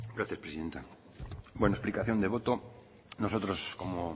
gracias presidenta bueno explicación de voto nosotros como